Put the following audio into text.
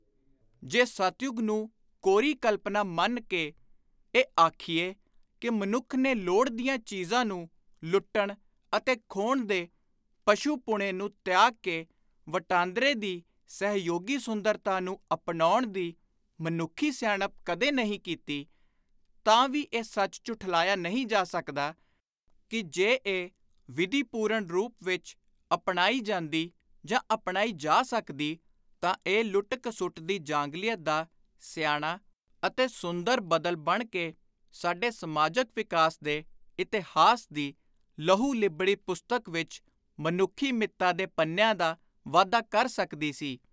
ਜੇ ਸਤਯੁਗ ਨੂੰ ਕੋਰੀ ਕਲਪਨਾ ਮੰਨ ਕੇ ਇਹ ਆਖੀਏ ਕਿ ਮਨੁੱਖ ਨੇ ਲੋੜ ਦੀਆਂ ਚੀਜ਼ਾਂ ਨੂੰ ਲੁੱਟਣ ਅਤੇ ਖੋਹਣ ਦੇ ਪਸ਼ੂ-ਪੁਣੇ ਨੂੰ ਤਿਆਗ ਕੇ, ਵਟਾਂਦਰੇ ਦੀ ਸਹਿਯੋਗੀ ਸੁੰਦਰਤਾ ਨੂੰ ਅਪਣਾਉਣ ਦੀ ਮਨੁੱਖੀ ਸਿਆਣਪ ਕਦੇ ਨਹੀਂ ਕੀਤੀ, ਤਾਂ ਵੀ ਇਹ ਸੱਚ ਝੁਠਲਾਇਆ ਨਹੀਂ ਜਾ ਸਕਦਾ ਕਿ ਜੇ ਇਹ ਵਿਧੀ ਪੂਰਨ ਰੂਪ ਵਿਚ ਅਪਣਾਈ ਜਾਂਦੀ ਜਾਂ ਅਪਣਾਈ ਜਾ ਸਕਦੀ, ਤਾਂ ਇਹ ਲੁੱਟ ਘਸੁੱਟ ਦੀ ਜਾਂਗਲੀਅਤ ਦਾ ਸਿਆਣਾ ਅਤੇ ਸੁੰਦਰ ‘ਬਦਲ’ ਬਣ ਕੇ ਸਾਡੇ ਸਮਾਜਕ ਵਿਕਾਸ ਦੇ ਇਤਿਹਾਸ ਦੀ ਲਹੂ-ਲਿੱਬੜੀ ਪੁਸਤਕ ਵਿਚ ਮਨੁੱਖੀ ਮਿੱਤ੍ਤਾ ਦੇ ਪੰਨਿਆਂ ਦਾ ਵਾਧਾ ਕਰ ਸਕਦੀ ਸੀ।